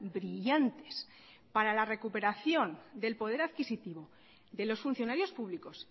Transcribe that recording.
brillantes para la recuperación del poder adquisitivo de los funcionarios públicos